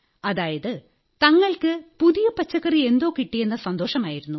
അതായത് തങ്ങൾക്ക് പുതിയ പച്ചക്കറിയെന്തോ കിട്ടിയെന്ന സന്തോഷമായിരുന്നു